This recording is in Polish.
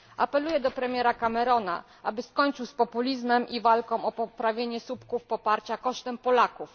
Apeluję do premiera Camerona, aby skończył z populizmem i walką o poprawienie słupków poparcia kosztem Polaków.